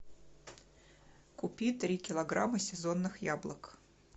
купи три килограмма сезонных яблок